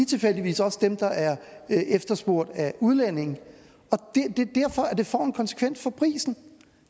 tilfældigvis også dem der er efterspurgt af udlændinge og det får en konsekvens for prisen